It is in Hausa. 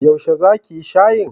Yaushe za ki yi shayin?